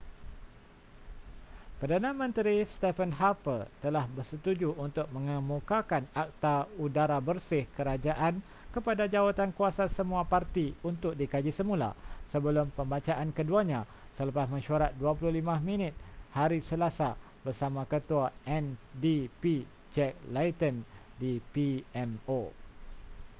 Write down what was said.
perdana menteri stephen harper telah bersetuju untuk mengemukakan akta udara bersih kerajaan kepada jawatankuasa semua parti untuk dikaji semula sebelum pembacaan keduanya selepas mesyuarat 25 minit hari selasa bersama ketua ndp jack layton di pmo